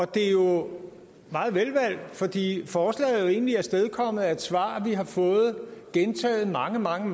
det er jo meget velvalgt fordi forslaget egentlig er afstedkommet af et svar vi har fået gentaget mange mange